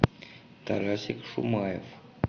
тарасик шумаев